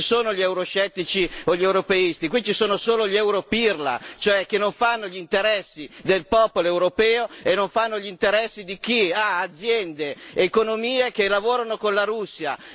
Qui non ci sono gli euroscettici o gli europeisti, qui ci sono solo gli europirla, che non fanno gli interessi del popolo europeo e non fanno gli interessi di chi ha aziende, economie che lavorano con la Russia.